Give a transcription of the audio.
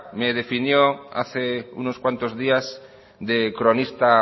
me definió hace unos cuantos días de cronista